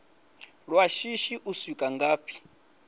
lwa shishi u swika ngafhi